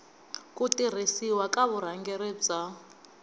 ku tirhisiwa ka vurhangeri bya